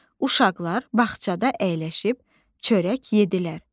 Uşaqlar bağçada əyləşib çörək yedlər.